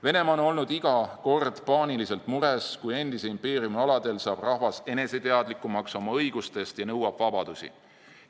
Venemaa on olnud iga kord paaniliselt mures, kui endise impeeriumi aladel saab rahvas oma õigustest teadlikumaks ja nõuab vabadusi.